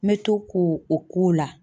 N bɛ to ko o k'o la.